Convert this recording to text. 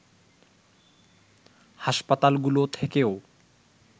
হাসপাতালগুলো থেকেও